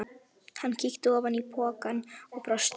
Hann kíkti ofan í pokann og brosti.